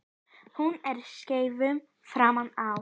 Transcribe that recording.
Hún er skeifu framan á.